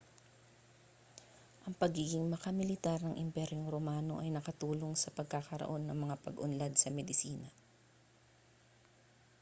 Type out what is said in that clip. ang pagiging makamilitar ng imperyong romano ay nakatulong sa pagkakaroon ng mga pag-unlad sa medisina